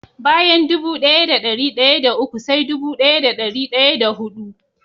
Bayan dubu daya da dari daya da uku sai dubu daya da dari daya da hudu.